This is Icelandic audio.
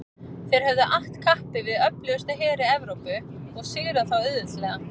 Þeir höfðu att kappi við öflugustu heri Evrópu og sigrað þá auðveldlega.